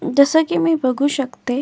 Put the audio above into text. जस की मी बघू शकते.